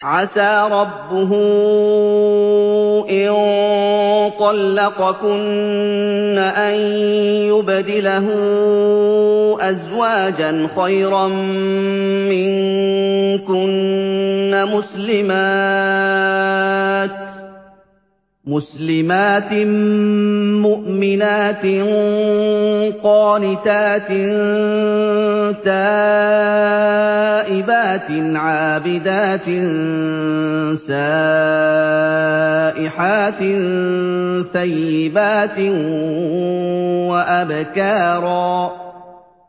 عَسَىٰ رَبُّهُ إِن طَلَّقَكُنَّ أَن يُبْدِلَهُ أَزْوَاجًا خَيْرًا مِّنكُنَّ مُسْلِمَاتٍ مُّؤْمِنَاتٍ قَانِتَاتٍ تَائِبَاتٍ عَابِدَاتٍ سَائِحَاتٍ ثَيِّبَاتٍ وَأَبْكَارًا